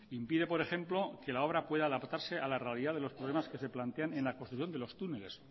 impide por ejemplo que la obra pueda adaptarse a la realidad de los problemas que se plantean en la construcción de los túneles